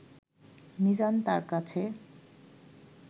মিজান তার কাছে